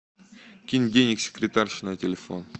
кинь денег секретарше на телефон